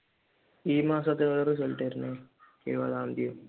ഈ മാസത്തിൽ എന്നാ result വരുന്നത് ഇരുപതാം തീയതിയോ?